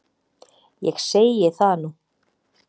Ég segi það nú!